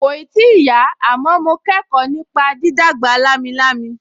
Kòì tíì yá, àmọ́ mo kẹ́kọ̀ọ́ nípa dídàgbà lámilámi